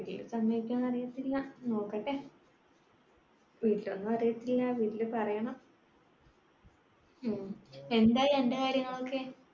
വീട്ടിൽ സമ്മതിക്കുവോയെന്ന് അറിയത്തില്ല. നോക്കട്ടെ. വീട്ടിലൊന്നും അറിയത്തില്ല. വീട്ടില് പറയണം. ഉം എന്തായി അന്റെ കാര്യങ്ങളൊക്കെ